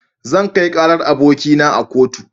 Zan kai karar abokina a kotu.